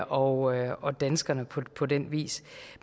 og og danskerne på på den vis